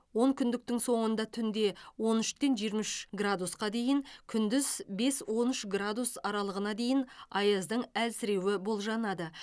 онкүндіктің соңында түнде он үштен жиырма үш градусқа дейін күндіз бес он үш градус аралығына дейін аяздың әлсіреуі болжанады